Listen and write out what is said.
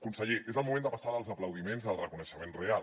conseller és el moment de passar dels aplaudiments al reconeixement real